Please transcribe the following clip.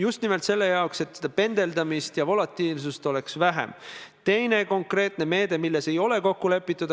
Saanud sealt kooskõlastuse, võttis Majandus- ja Kommunikatsiooniministeerium eelduseks, et Sotsiaalministeerium on selle ka teiste huvigruppidega läbi rääkinud.